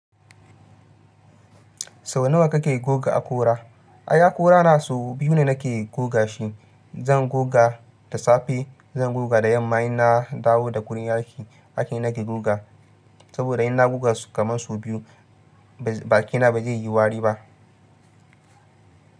Sau nawa kake goga akora? Ai akora na sau biyu ne nake goga shi. Zan goga da safe, zan goga da yamma in na dawo da gurin aiki ake ni nake goga. Saboda in na goga su kamar sau biyu baƙina ba zai yi wari ba.